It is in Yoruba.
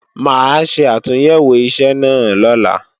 Mà á ṣe àtúnyẹ̀wò iṣẹ́ náà lọ́la